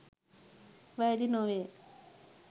වැරදි නොවේ.